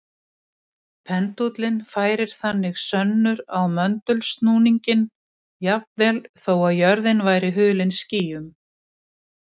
Pendúllinn færir þannig sönnur á möndulsnúninginn jafnvel þó að jörðin væri hulin skýjum.